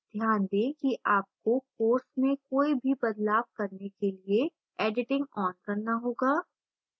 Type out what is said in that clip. ध्यान दें कि आपको course में कोई भी बदलाव करने के लिए editing on करना होगा